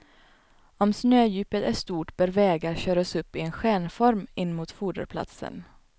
Om snödjupet är stort bör vägar köras upp i en stjärnform in mot foderplatsen.